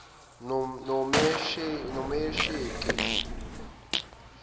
nomesheke